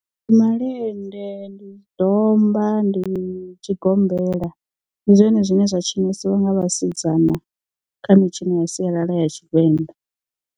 Ndi malende ndi domba ndi tshigombela ndi zwone zwine zwa tshinesiwa nga vhasidzana kha mitshino ya sialala ya tshivenḓa.